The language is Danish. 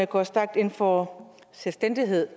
går stærkt ind for selvstændighed